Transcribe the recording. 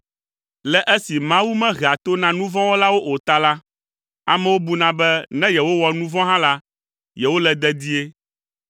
Le esi Mawu mehea to na nu vɔ̃ wɔlawo o ta la, amewo buna be ne yewowɔ nu vɔ̃ hã la, yewole dedie.